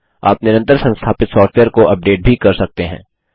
आप निरंतर संस्थापित सॉफ्टवेयर को अपडेट भी कर सकते हैं